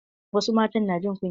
Wasu matan na jin kunya.